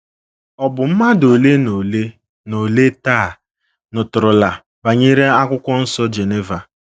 Ọ bụ mmadụ ole na ole na ole taa nụtụrụla banyere akwụkwọ nsọ Geneva.